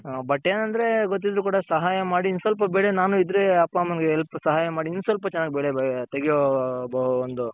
but ಏನಂದ್ರೆ ಗೊತ್ತಿದ್ದೂ ಕೂಡ ಸಹಾಯ ಮಾಡಿ ಇನ್ ಸ್ವಲ್ಪ ಬೆಳೆ ನಾನು ಇದ್ರೆ ಅಪ್ಪ ಅಮ್ಮಂಗೆ Help ಸಹಾಯ ಮಾಡಿ ಇನ್ ಸ್ವಲ್ಪ ಚೆನ್ನಾಗಿ ಬೆಳೆ ತೆಗೆಯೋ ಒಂದು ತೆಗೆಯೋ ಒಂದು